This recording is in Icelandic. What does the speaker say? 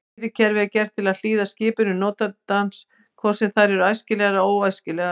Stýrikerfið er gert til að hlýða skipunum notandans hvort sem þær eru æskilegar eða óæskilegar.